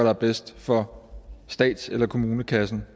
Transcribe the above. er bedst for stats eller kommunekassen